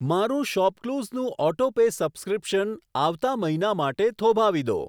મારું શોપક્લુસ નું auto pay subscription આવતા મહિના માટે થોભાવી દો.